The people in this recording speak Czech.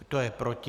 Kdo je proti?